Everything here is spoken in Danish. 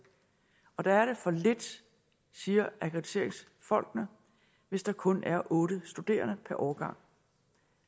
og der er det for lidt siger akkrediteringsfolkene hvis der kun er otte studerende per årgang